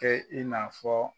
Kɛ i n'a fɔ